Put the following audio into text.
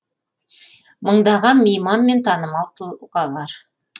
мыңдаған мейман мен танымал тұлғалар